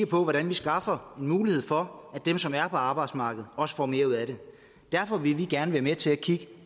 på hvordan vi skaffer en mulighed for at dem som er på arbejdsmarkedet også får mere ud af det derfor vil vi gerne være med til at kigge